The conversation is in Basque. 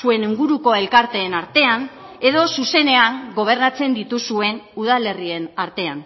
zuen inguruko elkarteen artean edo zuzenean gobernatzen dituzuen udalerrien artean